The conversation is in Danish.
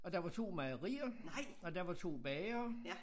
Og der var 2 mejerier og der var 2 bagere